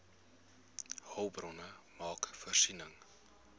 hulpbronne maak voorsiening